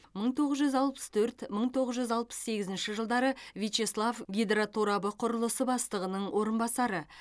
мың тоғыз жүз алпыс төрт мың тоғыз жүз алпыс сегізінші жылдары вячеслав гидроторабы құрылысы бастығының орынбасары